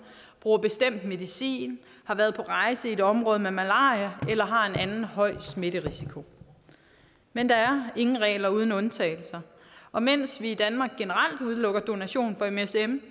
bruger noget bestemt medicin har været på rejse i et område med malaria eller har en anden høj smitterisiko men der er ingen regler uden undtagelser og mens vi i danmark udelukker msm